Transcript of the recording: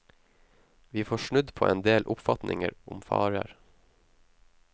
Vi får snudd på en del oppfatninger om farer.